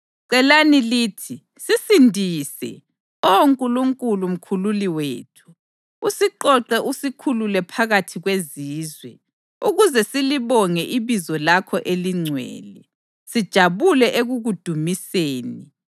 Celani lithi: “Sisindise, Oh Nkulunkulu Mkhululi wethu, usiqoqe usikhulule phakathi kwezizwe, ukuze silibonge ibizo lakho elingcwele, sijabule ekukudumiseni.”